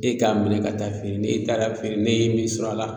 E k'a minɛ ka taa feere n'e taara feere ne ye min sɔrɔ a la